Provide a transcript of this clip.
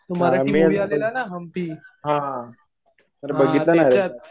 मी अजून बघितला हा. तर बघितला नाही रे